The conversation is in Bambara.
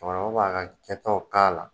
Cɛkɔrɔba b'a ka kɛ taw k'a la.